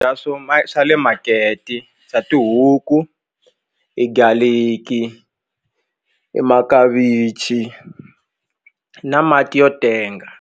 swo ma swa le makete xa tihuku i garlic i i makavichi na mati yo tenga.